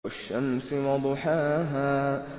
وَالشَّمْسِ وَضُحَاهَا